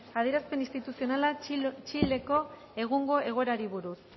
adierazpen instituzionala txileko egungo egoerari buruz